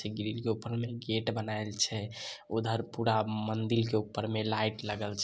Grill के ऊपर में गेट बनायेल छ उधर पुडा मंदिल के ऊपर में लाइट लगल छ।